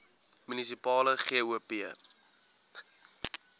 munisipale gop